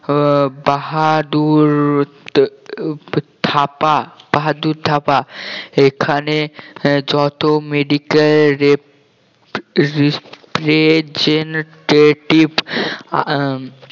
আহ বাহাদুর আহ থাপা বাহাদুর থাপা এখানে যত medical rep~ representative আহ